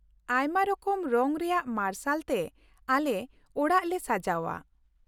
ᱟᱭᱢᱟ ᱨᱚᱠᱚᱢ ᱨᱚᱝ ᱨᱮᱭᱟᱜ ᱢᱟᱨᱥᱟᱞ ᱛᱮ ᱟᱞᱮ ᱚᱲᱟᱜ ᱞᱮ ᱥᱟᱡᱟᱣᱼᱟ ᱾